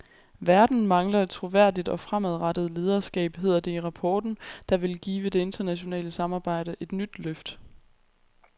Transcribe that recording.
Verden mangler et troværdigt og fremadrettet lederskab, hedder det i rapporten, der vil give det internationale samarbejde et nyt løft.